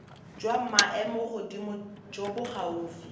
jwa maemogodimo jo bo gaufi